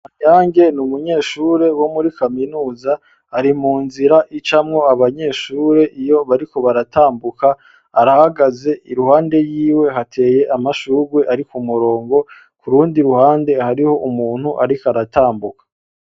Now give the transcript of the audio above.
Kanyange ni umunyeshure wo muri kaminuza ari mu nzira icamwo abanyeshure iyo bariko baratambuka arahagaze iruhande yiwe hateye amashurwe ari k'umurongo kurundi ruhande hariho umuntu ariko aratambuka.